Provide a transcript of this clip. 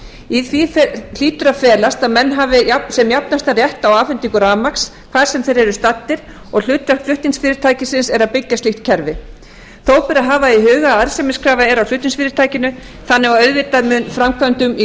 í því hlýtur að felast að menn hafi sem jafnastan rétt á afhendingu rafmagns hvar sem þeir eru staddir og hlutverk flutningsfyrirtækisins er að byggja slíkt kerfi þó ber að hafa í huga að arðsemiskrafa er á flutningsfyrirtækinu þannig að auðvitað er framkvæmdum í